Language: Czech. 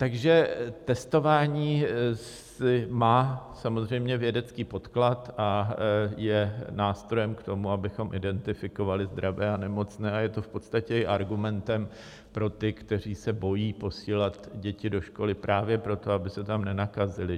Takže testování má samozřejmě vědecký podklad a je nástrojem k tomu, abychom identifikovali zdravé a nemocné, a je to v podstatě i argumentem pro ty, kteří se bojí posílat děti do školy právě proto, aby se tam nenakazily.